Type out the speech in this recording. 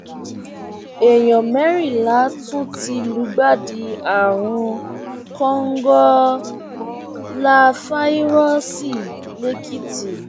èèyàn mẹrìnlá tún ti lùgbàdì àrùn kòǹgóláfàírọọsì lẹkìtì